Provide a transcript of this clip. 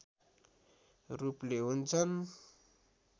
रूपले हुन्छन्